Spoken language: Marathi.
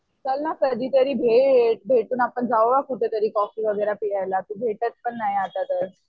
चल ना कधीतरी भेट भेटून जाऊया कुठेतरी कॉफी वगैरे प्यायला. तू भेटत पण नाही आता तर.